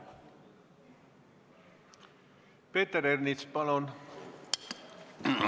Peeter Ernits, palun!